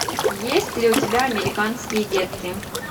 есть ли у тебя американские детки